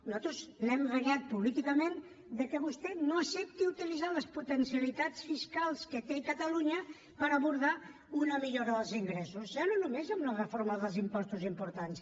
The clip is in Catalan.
nosaltres l’hem renyat políticament que vostè no accepti utilitzar les potencialitats fiscals que té catalunya per abordar una millora dels ingressos ja no només amb la reforma dels impostos importants